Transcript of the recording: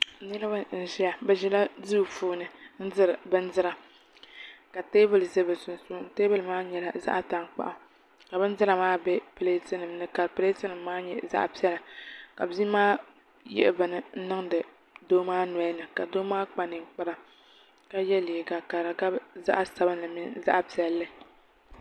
Niraba n ʒiya bi ʒila duu sunsuuni n diri bindira ka teebuli ʒɛ bi sunsuuni taabuli maa nyɛla zaɣ tankpaɣu ka bindira maa bɛ pileeti nim ni ka pileeti nim maa nyɛ zaɣ piɛla ka bia maa yihi bini niŋdi doo maa nolini ka doo maa kpa ninkpara ka yɛ liiga ka di gabi zaɣ sabinli mini zaɣ piɛli